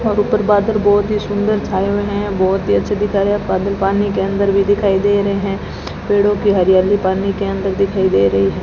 तथा ऊपर बादल बहोत ही सुंदर छाए हुए हैं बहोत ही अच्छे दिखा रहा बादल पानी के अंदर भी दिखाई दे रहे हैं पेड़ों की हरियाली पानी के अंदर दिखाई दे रही है।